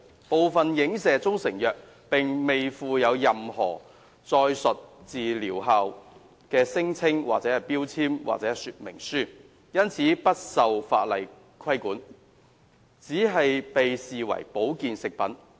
部分影射中成藥並未附有任何載述療效聲稱的標籤或說明書，因此不受法例監管，而只被視為保健食品。